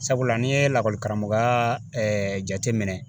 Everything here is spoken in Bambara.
Sabula n'i ye lakɔlikaramɔgɔya jateminɛ